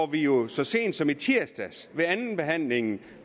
vi jo så sent som i tirsdags ved andenbehandlingen